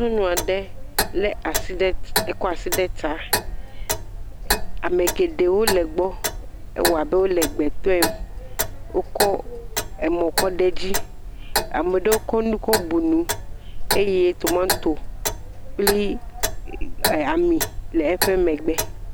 Nyɔnu aɖe lé asi ɖe, kɔ asi ɖe ta, ame geɖewo le egbɔ. Ewa be wole gbe tɔe. Wokɔ emɔ̃ kɔ ɖe edzi. Ame ɖewo kɔ nu kɔbu nu eye tomato kpli ami le eƒe megbe.